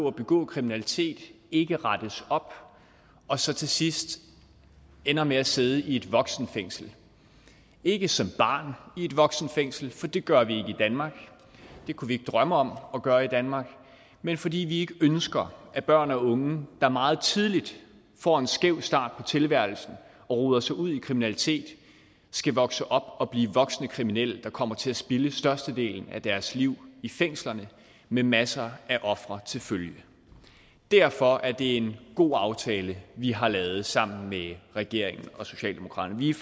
at begå kriminalitet og ikke rettes op og så til sidst ender med at sidde i et voksenfængsel ikke som barn i et voksenfængsel for det gør vi ikke i danmark det kunne vi ikke drømme om at gøre i danmark men fordi vi ikke ønsker at børn og unge der meget tidligt får en skæv start på tilværelsen og roder sig ud i kriminalitet skal vokse op og blive voksne kriminelle der kommer til at spilde størstedelen af deres liv i fængslerne med masser af ofre til følge derfor er det en god aftale vi har lavet sammen med regeringen og socialdemokratiet